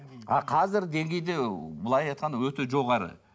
а қазір деңгейде былай айтқанда өте жоғары